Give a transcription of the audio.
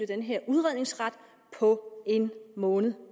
den her udredningsret på en måned